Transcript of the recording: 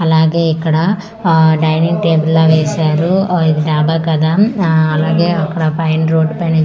అలాగే ఇక్కడ ఆ డైనింగ్ టేబుల్ లాగా వేశారు ఆ ఇది టేబుల్ కదా ఆ అలాగే అక్కడ పైన రోడ్ పైన --